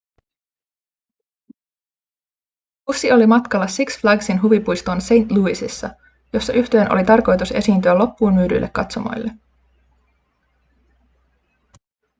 bussi oli matkalla six flagsin huvipuistoon st louisissa jossa yhtyeen oli tarkoitus esiintyä loppuunmyydyille katsomoille